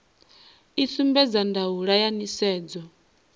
i sumbedza ndaulo ya nisedzo